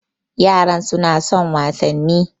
Yaran su na son wasanni